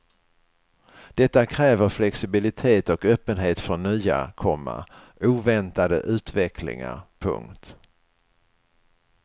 Detta kräver flexibilitet och öppenhet för nya, komma oväntade utvecklingar. punkt